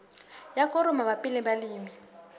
ya koro mabapi le balemi